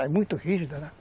Era muito rígida, né?